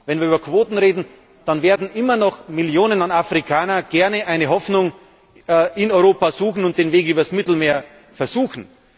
Wenn wir über Quoten reden, dann werden immer noch Millionen Afrikaner gerne eine Hoffnung in Europa suchen und den Weg übers Mittelmeer versuchen.